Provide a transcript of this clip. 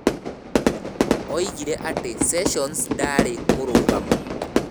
Oigire atĩ Sessions ndaarĩ mũrungamo